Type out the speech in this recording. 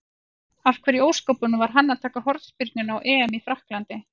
Af hverju í ósköpunum var hann að taka hornspyrnurnar á EM í Frakklandi?